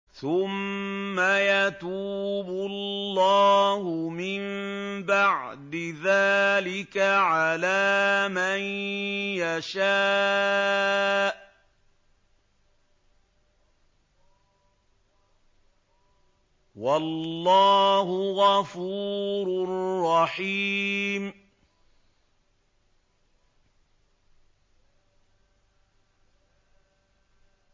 ثُمَّ يَتُوبُ اللَّهُ مِن بَعْدِ ذَٰلِكَ عَلَىٰ مَن يَشَاءُ ۗ وَاللَّهُ غَفُورٌ رَّحِيمٌ